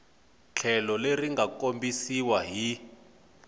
tlhelo leri nga kombisiwa hi